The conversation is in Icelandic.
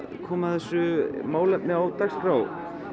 komið þessu málefni á dagskrá